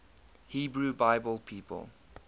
hebrew bible people